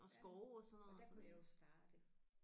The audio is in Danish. Ja og der kunne jeg jo starte